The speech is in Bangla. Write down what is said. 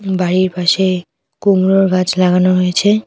বাড়ির পাশে কুমড়োর গাছ লাগানো হয়েছে।